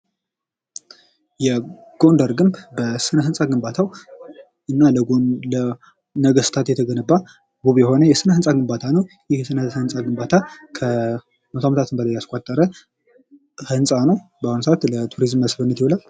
የጎንደር ግንብ በሥነ ሕንፃ ግንባታው እና ለነገስታት የተገነባ ውብ የሆነ የሥነ ሕንፃ ግንባታ ነው። ይህ የሥነ ሕንፃ ግንባታ ከ 100 ዓመታት በላይ አስቆጠረ ሕንፃ ነው። በአሁን ሰዓት ለቱሪዝም መስብህነት ይውላል።